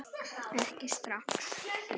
Ekki strax